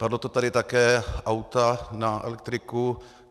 Padlo to tady také, auta na elektriku.